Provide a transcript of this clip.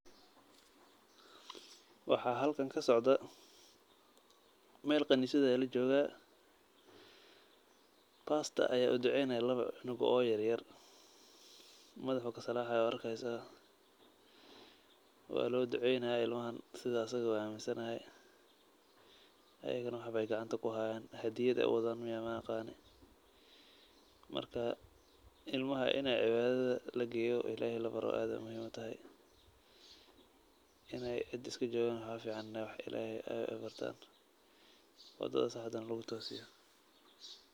Waxaa halkan kasocdaa, meel khaniisad ah ayaa lajooga, pastor ayaa uduceynaaya laba cunug oo yaryar, madaxa ayuu kasalaaxaya waa arkeysa, waa loo duceynaaya ilmahan sida asaga uu aminsan yahay, ayagana wax beey gacmaha kuhaayan, hadiyad ayeey wadaan miyaa maaqani, marka ilmaha in cibaadada lageeyo ilaheey labaro aad ayeey muhiim utahay, ineey cid iska joogan waxaa kafican in ilaheey aay bartaan, wadada saxda ah lagu toosiyo.